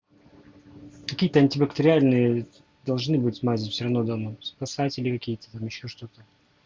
какие-то антибактериальные должны быть мозги все равно домой спасатели какие там ещё что-то